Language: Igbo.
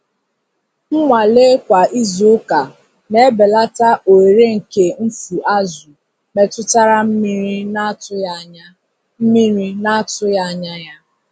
Nnwale kwa izuụka na-ebelata ohere nke mfu azụ̀ metụtara mmiri na-atụghị anya mmiri na-atụghị anya ya.